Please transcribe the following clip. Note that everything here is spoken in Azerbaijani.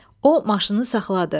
O, maşını saxladı.